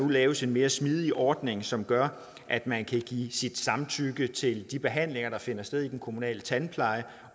laves en mere smidig ordning som gør at man kan give sit samtykke til de behandlinger der finder sted i den kommunale tandpleje